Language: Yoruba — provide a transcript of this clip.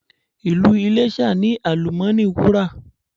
Ìlú Iléṣà ní àlùmọ́ọ́nì Wúrà.